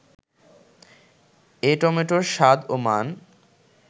এ টমেটোর স্বাদ ও মান